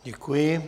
Děkuji.